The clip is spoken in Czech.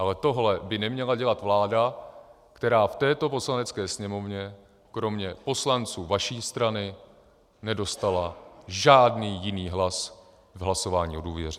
Ale tohle by neměla dělat vláda, která v této Poslanecké sněmovně kromě poslanců vaší strany nedostala žádný jiný hlas v hlasování o důvěře.